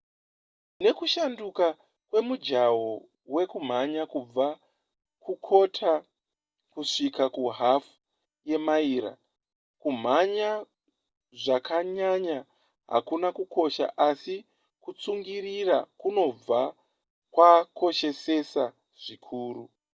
nekushanduka kwemujaho wekumhanya kubva kukota kusvika kuhafu yemaira kumhanya zvakanyanya hakuna kukosha asi kutsungirira kunobva kwakoshesesa zvikuru